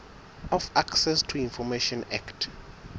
of access to information act